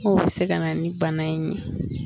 Mun bɛ se ka na ni bana in ye.